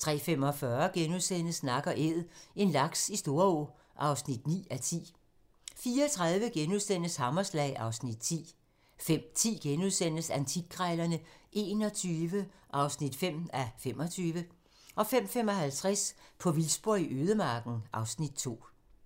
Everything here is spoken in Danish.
03:45: Nak & Æd - en laks i Storå (9:10)* 04:30: Hammerslag (Afs. 10)* 05:10: Antikkrejlerne XXI (5:25)* 05:55: På vildspor i ødemarken (Afs. 2)